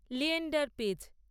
Leander page